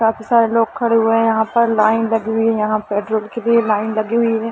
काफी सारे लोग खड़े हुए है यहाँ पर लाइन लगीं हुई है यहाँ पेट्रोल के लिए लाइन लगीं हुई है।